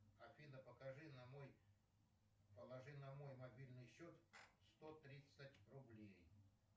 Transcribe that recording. афина покажи на мой положи на мой мобильный счет сто тридцать рублей